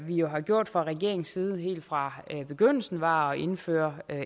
vi jo har gjort fra regeringens side helt fra begyndelsen var at indføre